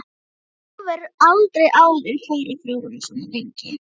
Hún hefur aldrei áður farið frá honum svona lengi.